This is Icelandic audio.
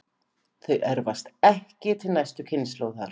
Þau erfast ekki til næstu kynslóðar.